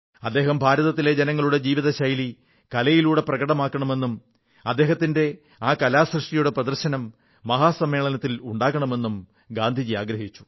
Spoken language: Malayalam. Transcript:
അദ്ദേഹം ഭാരതത്തിലെ ജനങ്ങളുടെ ജീവിതശൈലി കലയിലൂടെ പ്രകടകമാക്കണമെന്നും അദ്ദേഹത്തിന്റെ ആ കലാകൃതിയുടെ പ്രദർശനം മഹാസമ്മേളനത്തിൽ ഉണ്ടാകണമെന്നും ഗാന്ധിജി ആഗ്രഹിച്ചു